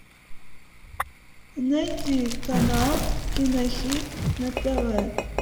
найти канал кинохит на тв